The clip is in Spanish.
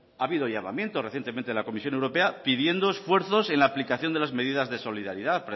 ha habido llamamiento recientemente de la comisión europea pidiendo esfuerzos en la aplicación de las medidas de solidaridad